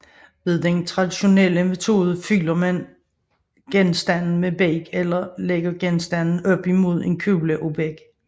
Ved den traditionelle metode fylder man genstanden med beg eller lægger genstanden op imod en kugle af beg